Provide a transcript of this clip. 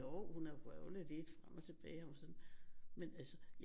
Jo hun har vrøvlet lidt frem og tilbage men altså